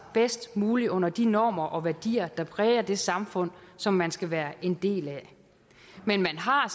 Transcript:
bedst muligt under de normer og værdier der præger det samfund som man skal være en del af men man har